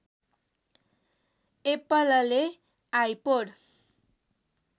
एप्पलले आइपोड